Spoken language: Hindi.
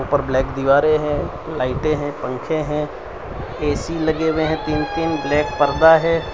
और ब्लैक दीवारे हैं लाइटे हैं पंखे हैं ए_सी लगे हुए हैं तीन तीन ब्लैक परदा है।